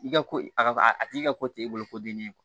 I ka ko a ka a a tigi ka ko t'e bolo ko dennen ye